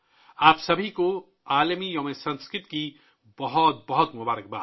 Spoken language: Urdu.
سنسکرت کے عالمی دن پر آپ سب کو بہت بہت مبارکباد